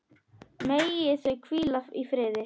Megi þau hvíla í friði.